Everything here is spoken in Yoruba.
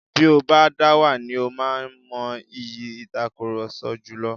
Bí o bá dáwà ni ó má mọ ìyí ìtakurọlsọ jùlọ.